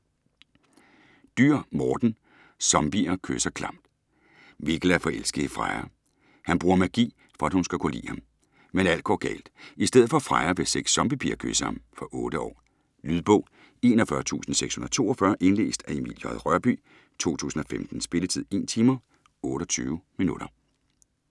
Dürr, Morten: Zombier kysser klamt! Mikkel er forelsket i Freja. Han bruger magi, for at hun skal kunne lide ham. Men alt går galt. I stedet for Freja vil seks zombi-piger kysse ham. Fra 8 år. Lydbog 41642 Indlæst af Emil J. Rørbye, 2015. Spilletid: 1 timer, 28 minutter.